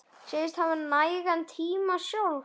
Segist hafa nægan tíma sjálf.